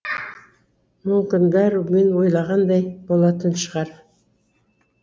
мүмкін бәрі мен ойлағандай болатын шығар